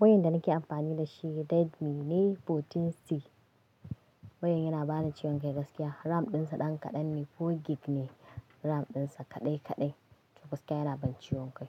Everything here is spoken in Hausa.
Wayoyin da nake amfani da shi Redmi ne 14C. Wayoyin yana bani ciwon kai gaskiya. RAM ɗinsa ɗan kaɗan ne, 4GB ne. RAM ɗinsa kaɗai kaɗai, to gaskiya yana bani ciwon kai.